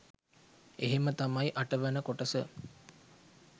එහෙම තමයි අටවන කොටස